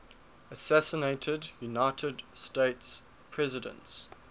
assassinated united states presidents